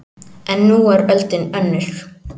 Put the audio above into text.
En nú er öldin önnur